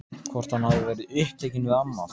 Hvort hann hafi verið upptekinn við annað?